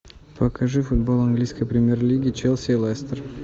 покажи футбол английской премьер лиги челси лестер